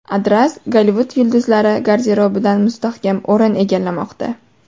Adras Gollivud yulduzlari garderobidan mustahkam o‘rin egallamoqda.